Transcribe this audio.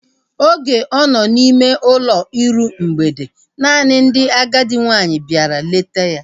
Oge ọ nọ n' ime ụlọ iru mgbede, naanị ndị agadi nwaanyị bịara ileta ya